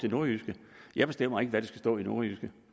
til nordjyske jeg bestemmer ikke hvad der skal stå i nordjyske